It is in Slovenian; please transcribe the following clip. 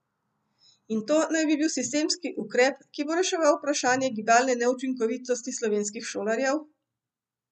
In to naj bi bil sistemski ukrep, ki bo reševal vprašanje gibalne neučinkovitosti slovenskih šolarjev?